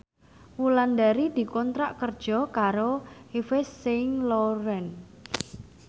Wulandari dikontrak kerja karo Yves Saint Laurent